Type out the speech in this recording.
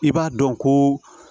I b'a dɔn ko